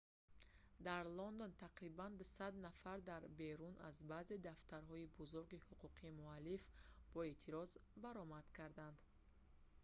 дар лондон тақрибан 200 нафар дар берун аз баъзе дафтарҳои бузурги ҳуқуқи муаллиф бо эътироз баромад карданд